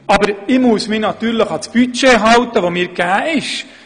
Aber ich muss mich natürlich an das Budget halten, das mir vorgegeben ist.